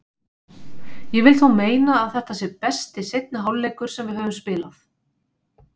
Ég vil þó meina að þetta sé besti seinni hálfleikur sem við höfum spilað.